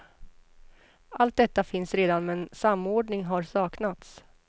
Allt detta finns redan men samordning har saknats.